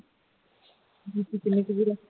ਵੀਰਾ